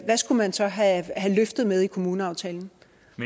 skulle man så have løftet med i kommuneaftalen